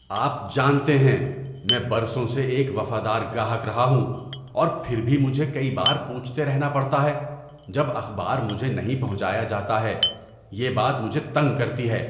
آپ جانتے ہیں، میں برسوں سے ایک وفادار گاہک رہا ہوں، اور پھر بھی مجھے کئی بار پوچھتے رہنا پڑتا ہے جب اخبار مجھے نہیں پہنچایا جاتا ہے۔ یہ بات مجھے تنگ کرتی ہے۔